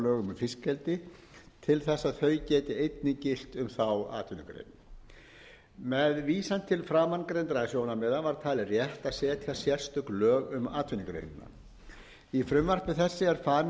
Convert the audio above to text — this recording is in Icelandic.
lögum um fiskeldi til þess að þau geti einnig gilt um þá atvinnugrein með vísan til framangreindra sjónarmiða var talið rétt að setja sérstök lög um atvinnugreinina í frumvarpi þessu er farin sú leið að setja sérstök